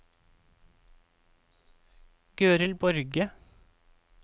Gøril Borge